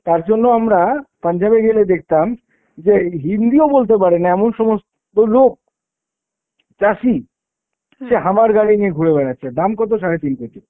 তারজন্য আমরা পাঞ্জাবে গেলে দেখতাম যে হিন্দিও বলতে পারে না এমন সমস্ত লোক, চাষী সে hummer গাড়ি নিয়ে ঘুরে বেড়াচ্ছে। দাম কত? সাড়ে তিন কোটি।